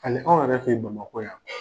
Hali anw yɛrɛ fe ye Bamakɔ yan